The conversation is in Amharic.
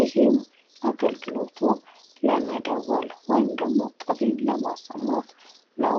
ይህም አገልግሎቱ ለመደወል ወይም ደግሞ ጥሪን ለማሰማት ነው።